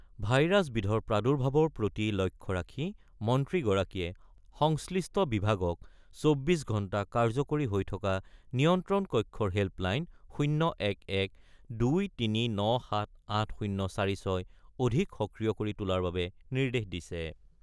Virus বিধৰ প্ৰাদুৰ্ভাৱৰ প্ৰতি লক্ষ্য ৰাখি মন্ত্ৰীগৰাকীয়ে সংশ্লিষ্ট বিভাগক ২৪ ঘণ্টা কাৰ্যকৰী হৈ থকা নিয়ন্ত্ৰণ কক্ষৰ হেল্প লাইন ০১১-২৩৯৭৮০৪৬ অধিক সক্ৰিয় কৰি তোলাৰ বাবে নিৰ্দেশ দিছে।